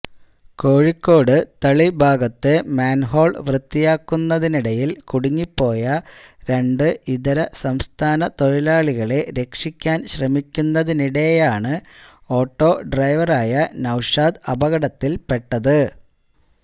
കോഴിക്കോട് തളി ഭാഗത്തെ മാന്ഹോള് വൃത്തിയാക്കുന്നതിനിടയില് കുടുങ്ങിപ്പോയ രണ്ട് ഇതരസംസ്ഥാന തൊഴിലാളികളെ രക്ഷിക്കാന് ശ്രമിക്കുന്നതിനിടെയാണ് ഓട്ടോ ഡ്രൈവറായ നൌഷാദ് അപകടത്തില്പ്പെട്ടത്